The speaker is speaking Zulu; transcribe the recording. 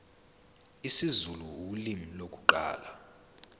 isizulu ulimi lokuqala